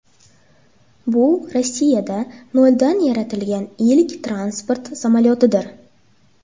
Bu Rossiyada noldan yaratilgan ilk transport samolyotidir.